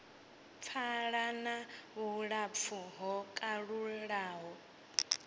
pfala na vhulapfu ho kalulaho